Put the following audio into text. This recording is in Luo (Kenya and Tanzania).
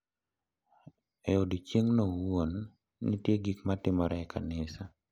E odiechieng’no owuon, nitie gik ma timore e kanisa .